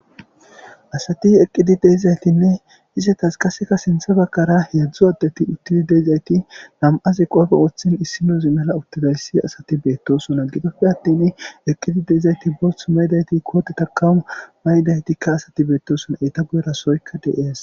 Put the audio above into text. asati eqqidi deizaytinne isetas qaseka sinthe bakkara heedzdzu addeti uttidi deezayti nam7azi qoofe woththin issinuzi mala uttidayssi asati beettosona gitoppe attin eqqidi deizayti bolth maydayti koote takamu maydaytikka asati beettoson eeta goerasoykka deias